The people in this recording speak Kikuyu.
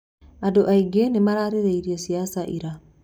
Andũ aingĩ nĩmararĩrĩirie ciaca ira.